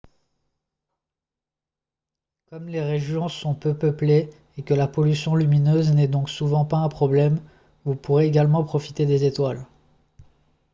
comme les régions sont peu peuplées et que la pollution lumineuse n'est donc souvent pas un problème vous pourrez également profiter des étoiles